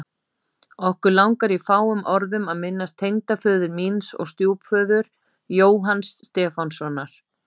Okkur langar í fáum orðum að minnast tengdaföður míns og stjúpföður, Jóhanns Stefánssonar.